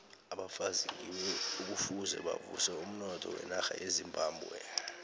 abafazi ngibo ekufuze bavuse umnotho wenarha yezimbabwe